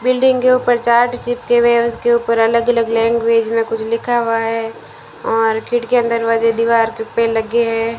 Building के ऊपर chart चिपके हुए उसके ऊपर अलग अलग लैंग्वेज में कुछ लिखा हुआ है और खिड़किया दरवाजे दीवार पे लगे हैं।